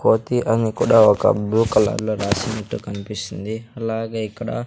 కోతి అని కూడా ఒక బ్లూ కలర్ లో రాసినట్టు కనిపిస్తుంది అలాగే ఇక్కడ--